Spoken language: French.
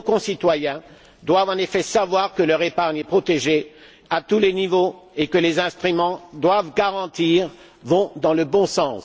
Nos concitoyens doivent en effet savoir que leur épargne est protégée à tous les niveaux et que les instruments qui doivent la garantir vont dans le bons sens.